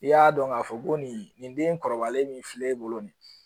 I y'a dɔn k'a fɔ ko nin den in kɔrɔbalen min filɛ e bolo